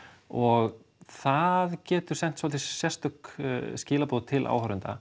og það getur sent svolítið sérstök skilaboð til áhorfenda